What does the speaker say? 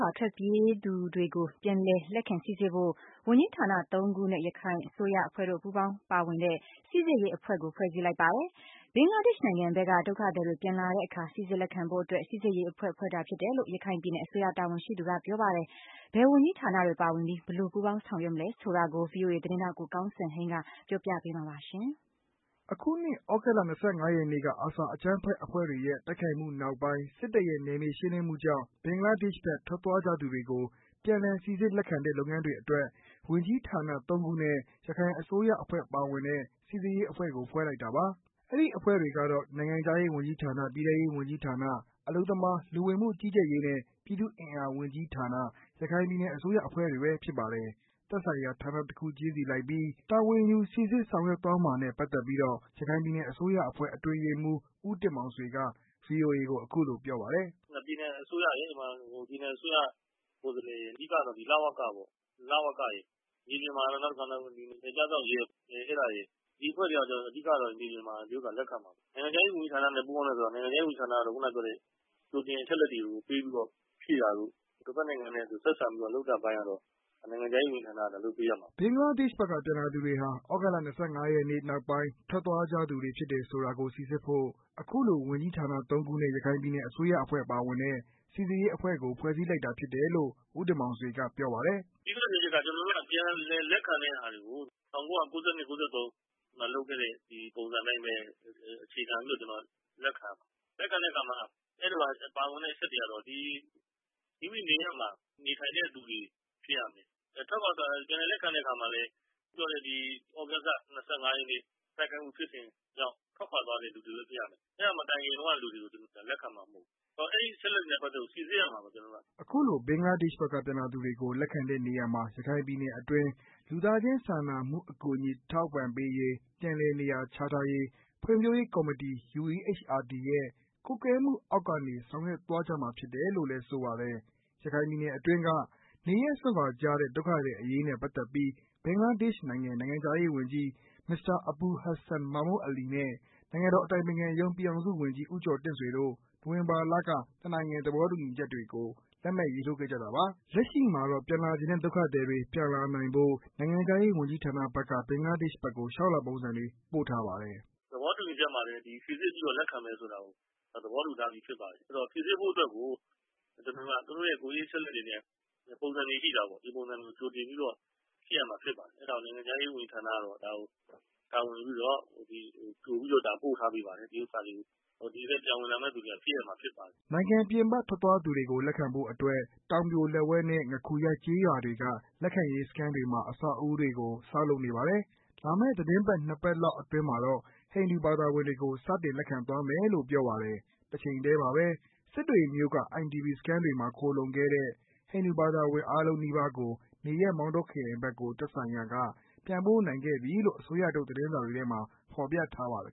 ွာထွက်ပြေးသူများကို ပြန်လည်လက်ခံစိစစ်ဖို့ ဝန်ကြီးဌာနသုံးခုနဲ့ ရခိုင်အစိုးရအဖွဲ့တို့ပူးပေါင်းပါဝင်တဲ့ စိစစ်ရေးအဖွဲ့ ဖွဲ့စည်းလိုက်ပါတယ်။ ဘင်္ဂလားဒေရှ့်နိုင်ငံဖက်က ပြန်လာမယ့် ဒုက္ခသည်တွေပြန်လာတဲ့အခါ စိစစ်လက်ခံဖို့အတွက် စိစစ်ရေးအဖွဲ့ ဖွဲ့တာဖြစ်တယ်လို့ ရခိုင်ပြည်နယ်အစိုးရတာဝန်ရှိသူက ပြောပါတယ်။ ဘယ်ဝန်ကြီးဌာနတွေပါဝင်ပြီး ဘယ်လိုပူးပေါင်းဆောင်ရွက်မှာလဲဆိုတာကို ဗွီအိုအေသတင်းထောက် ကိုကောင်းစံဟိန်းက ပြောပြပေးမှာပါ။ အခုနှစ် သြဂုတ်လ ၂၅ ရက်နေ့က အာဆာအကြမ်းဖက်အဖွဲ့တွေရဲ့ တိုက်ခိုက်မှုနောက်ပိုင်း စစ်တပ်ရဲ့ နယ်မြေရှင်းလင်းမှုကြောင့် ဘင်္ဂလားဒေရှ့်ဖက် ထွက်သွားကြသူတွေကို ပြန်လည်စိစ်စစ်လက်ခံတဲ့ လုပ်ငန်းတွေအတွက် ဝန်ကြီးဌာနသုံးခုနဲ့ ရခိုင်အစိုးရအဖွဲ့ပါဝင်တဲ့ စိစစ်ရေးအဖွဲ့ကို ဖွဲ့လိုက်တာပါ။အဲဒီအဖွဲ့တွေကတော့ နိုင်ငံခြားရေးဝန်ကြီးဌာန၊ ပြည်ထဲရေးဝန်ကြီးဌာန၊ အလုပ်သမားလူဝင်မှုကြီးကြပ်ရေးနှင့် ပြည်သူ့အင်အားဝန်ကြီးဌာန၊ ရ ခိုင်ပြည်နယ်အစိုးရအဖွဲ့တွေဖြစ်ပါတယ်။ သက်ဆိုင်ရာ ဌာနတစ်ခုချင်းစီလိုက်ပြီး တာဝန်ယူစိစစ်ဆောင်ရွက်သွားမှာနဲ့ပါတ်သက်လို့ ရခိုင်ပြည်နယ် အစိုးရအဖွဲ့အတွင်းရေးမှူး ဦးတင်မောင်ဆွေက ဗွီအိုအေကို အခုလိုပြောပါတယ်။ “ပြည်နယ်အစိုးရရယ် ပြည်နယ်အစိုးရကိုယ်စားလှယ်ရယ် အဓိက လဝကရယ်၊ နယ်ခြားစောင့်ရဲရယ် ဒီအဖွဲ့တွေကတော့ အဓိကတော့ မြေပြင်မှာ လက်ခံမှာပါ။ နိုင်ငံခြားရေးဝန်ကြီးဌာနနဲ့ ပူးပေါင်းတယ်ဆိုတာက နိုင်ငံခြားရေးဝန်ကြီးဌာနကတော့ ခုနပြောတဲ့ ကြိုတင်အချက်အလက်တွေကို ပေးပြီးတော့ ဖြည့်တာတို့ တဖက်နိုင်ငံနဲ့ ဆက်စပ်ပြီးတော့ လုပ်တဲ့အပိုင်းကတော့ နိုင်ငံခြားရေးဝန်ကြီးဌာနကတော့ လုပ်ပေးရမှာပဲ။” ဘင်္ဂလားဒေရှ့်ဖက်က ပြန်လာသူတွေဟာ သြဂုတ်လ ၂၅ ရက်နေ့ နောက်ပိုင်း ထွက်သွားကြသူတွေ ဖြစ်တယ်ဆိုတာကို စိစစ်ဖို့ အခုလို ဝန်ကြီးဌာနသုံးခုနဲ့ ရခိုင်ပြည်နယ်အစိုးရအဖွဲ့ပါဝင်တဲ့ စိစစ်ရေးအဖွဲ့ကို ဖွဲ့စည်းလိုက်တာဖြစ်တယ်လို့ ဦးတင်မောင်ဆွေကပြောပါတယ်။ “အဓိကပြောချင်တာက ကျနော်တို့က ပြန်လည်လက်ခံတဲ့ဟာတွေကို ၁၉၉၂-၁၉၉၃ မှာလုပ်ခဲ့တဲ့ ဒီပုံစံအတိုင်းပဲ အခြေခံပြီးတော့ လက်ခံရမှာပါ။ လက်ခံပြီးတော့ အဲဒီမှာ ပါဝင်တဲ့အချက်တွေကတော့ မိမိနေရပ်မှာ နေထိုင်တဲ့သူတွေဖြစ်ရမယ်။ နောက်ပြီးတော့ ပြန်လည်လက်ခံတဲ့အခါမှာလည်း သြဂုတ်လ ၂၅ ရက်နေ့ တိုက်ခိုက်မှုဖြစ်စဉ်ကြောင့် ထွက်ခွာသွားတဲ့သူတွေပဲဖြစ်ရမယ် အဲဒါမတိုင်ခင်တုံးကလူတွေကို သူတို့လက်ခံမှာမဟုတ်ဘူး။ အဲဒီအချက်အလက်တွေနဲ့ ပတ်သက်လို့ ကျနော်တို့ စိစစ်ရမှာဖြစ်ပါတယ်။” ခုလိုဘင်္ဂလားဒေရှ့်ဘက်က ပြန်လာသူတွေကို လက်ခံတဲ့နေရာမှာ ရခိုင်ပြည်နယ်အတွင်း လူသားချင်းစာနာမှုအကူအညီ အထောက်အပံ့ပေးရေး၊ ပြန်လည်နေရာချထားရေး ဖွံ့ဖြိုးရေးကော်မတီ UEHRD ရဲ့ကွပ်ကဲမှုအောက်ကနေ ဆောင်ရွက်သွားကြမှာဖြစ်တယ်လို့ဆိုပါတယ်။ ရခိုင်ပြည်နယ်အတွင်းက နေရပ်စွန့်ခွာကြတဲ့ဒုက္ခသည်အရေး နဲ့ပက်သက်ပြီး ဘင်္ဂလားဒေရှ့် နိုင်ငံ နိုင်ငံခြားရေးဝန်ကြီး မစ္စတာ အဘူလ်ဟတ်ဆန် မာမွတ်အလီနဲ့ နိုင်ငံတော် အတိုင်ပင်ခံ ရုံး ပြည်ထောင်စုဝန်ကြီး ဦးကျော်တင့်ဆွေ တို့ နိုဝင်ဘာလက နှစ်နိုင်ငံသဘောတူညီချက်တွေကို လက်မှတ်ရေးထိုးခဲ့ကြတာပါ။ လက်ရှိမှာတော့ ပြန်လာချင်တဲ့ ဒုက္ခသည်တွေပြန်လာနိုင်ဖို့ နိုင်ငံခြားရေးဝန်ကြီးဌာနဖက်က ဘင်္ဂလားဒေရှ့်ဖက်ကို လေ ျှာက်လွှာပုံစံတွေပို့ထားပါတယ်။ “သဘောတူညီချက်မှာလည်း စိစစ်ပြီးတော့ လက်ခံမယ်ဆိုတာကို သဘောတူထားပြီးဖြစ်ပါတယ်။ စိစစ်ဖို့အတွက်ကို သူတို့ရဲ့ကိုယ်ရေးအချက်အလက်တွေနဲ့ ပုံစံတွေရှိတာပေါ့ ။ ဒီပုံစံတွေကို တင်ပြီးတော့ စစ်ရမှာဖြစ်ပါတယ်။ အဲဒါကိုနိုင်ငံခြားရေးဝန်ကြီးဌာနဖက်က တာဝန်ယူပြီးတော့ ကြိပြီးတော့ ပို့ထားပေးပါတယ်။ ဒီဘက်ကို ပြန်ဝင်လာမယ့်သူတွေက ဖြည့်ရမှာဖြစ်ပါတယ်။” နိုင်ငံပြင်ပထွက်သွားသူတွေကို ပြန်လက်ခံဖို့အတွက် တောင်ပြိုလက်ဝဲနဲ့ ငခူရကျေးရွာတွေမှာ လက်ခံရေးစခန်းတွေကို အဆောက်အဦးတွေကို ဆောက်လုပ်နေပါတယ်။ လာမယ့်သီတင်းပတ် ၂ ပတ်လောက်အတွင်းမှာတော့ ဟိန္ဒူဘာသာဝင်တွေကို စတင်လက်ခံသွားမယ်လို့ ပြောပါတယ်။ တချိန်ထဲမှာပဲ စစ်တွေမြို့က IDP စခန်းတွေမှာ ခိုလှုံခဲ့တဲ့ ဟိန္ဒူဘာသာဝင်အားလုံးနီးပါးကို နေရပ်မောင်တောခရိုင်ဖက်ကို သက်ဆိုင်ရာက ပြန်ပို့နိုင်ခဲ့ပြီလို့ အစိုးရထုတ်သတင်းစာတွေထဲမှာ ဖော်ပြထားပါတယ်